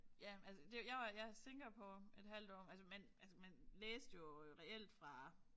Ja altså det jeg var ja Singapore et halvt år altså man altså man læste jo øh reelt fra